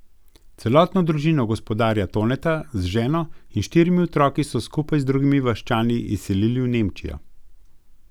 Celotno družino gospodarja Toneta z ženo in štirimi otroki so skupaj z drugimi vaščani izselili v Nemčijo.